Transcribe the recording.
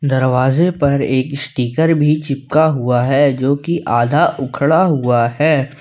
दरवाजे पर एक स्टीकर भी चिपका हुआ है जो कि आधा उखड़ा हुआ है।